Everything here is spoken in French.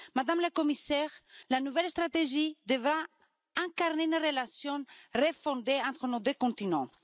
Madame la Commissaire, la nouvelle stratégie devra incarner une relation refondée entre nos deux continents.